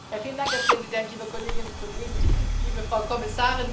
Herr Präsident, liebe Kolleginnen und Kollegen, liebe Frau Kommissarin!